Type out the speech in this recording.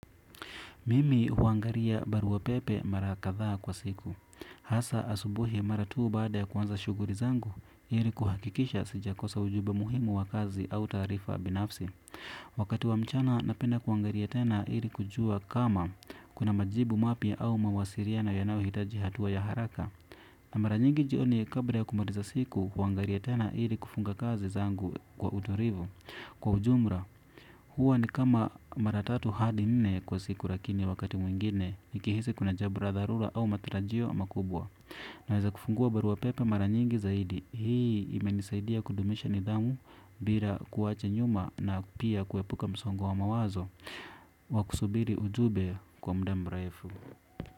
Mimi huangaria baruwa pepe mara kadhaa kwa siku. Hasa asubuhi mara tu baada ya kuanza shughuli zangu ili kuhakikisha sija kosa ujumbe muhimu wa kazi au taarifa binafsi. Wakati wa mchana napenda kuangalia tena ili kujua kama kuna majibu mapya au mawasiliano yanao hitaji hatuwa ya haraka. Na mara nyingi jioni kabla ya kumaliza siku huangalia tena ili kufunga kazi zangu kwa utulivu. Kwa ujumla, huwa ni kama mara tatu hadi nne kwa siku lakini wakati mwingine nikihisi kuna jambo la dharura au matarajio makubwa naweza kufungua barua pepe mara nyingi zaidi. Hii imenisaidia kudumisha nidhamu bila kuwacha nyuma na pia kuepuka msongo wa mawazo wakusubiri ujumbe kwa muda mrefu.